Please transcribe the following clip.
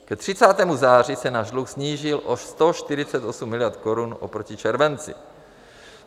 Ke 30. září se náš dluh snížil o 148 miliard korun oproti červenci.